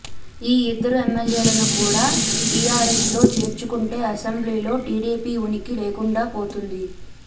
ఈ ఇద్దరు ఎమ్మెల్యేలను కూడ టీఆర్ఎస్ లో చేర్చుకొంటే అసెంబ్లీలో టీడీపీ ఉనికి లేకుండా పోతోంది